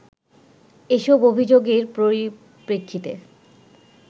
এসব অভিযোগের পরিপ্রেক্ষিতে